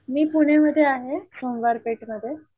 मी पुण्या मध्ये आहे सोमवार पेठ मध्ये.